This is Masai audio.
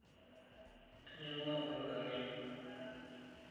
Ainyang'ua olorika ng'ejuk.